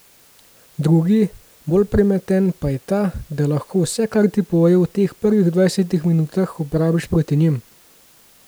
Drugi, bolj premeten, pa je ta, da lahko vse, kar ti povejo v teh prvih dvajsetih minutah, uporabiš proti njim.